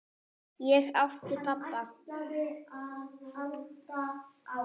Ég átti pabba.